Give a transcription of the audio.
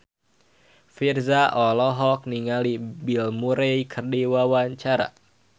Virzha olohok ningali Bill Murray keur diwawancara